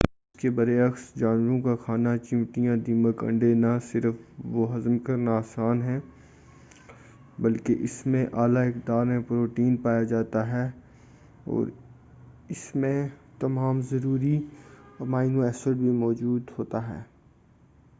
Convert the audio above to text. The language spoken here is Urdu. اس کے برعکس، جانوروں کا کھانا چیونٹیاں، دیمک، انڈے نہ صرف وہ ہضم کرنا آسان ہے، بلکہ اسمیں اعلی مقدار میں پروٹین پایا جاتا ہے، اوراسمیں تمام ضروری امینو ایسڈ بھی موجود ہوتا ہے۔